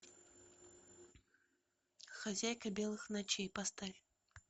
хозяйка белых ночей поставь